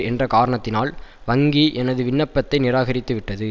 என்ற காரணத்தினால் வங்கி எனது விண்ணப்பத்தை நிராகரித்து விட்டது